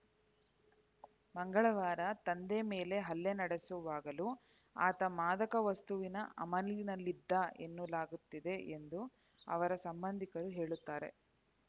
ಮಂಗಳವಾರ ತಂದೆ ಮೇಲೆ ಹಲ್ಲೆ ನಡೆಸುವಾಗಲೂ ಆತ ಮಾದಕ ವಸ್ತುವಿನ ಅಮಲಿನಲ್ಲಿದ್ದ ಎನ್ನಲಾಗುತ್ತಿದೆ ಎಂದು ಅವರ ಸಂಬಂಧಿಕರು ಹೇಳುತ್ತಾರೆ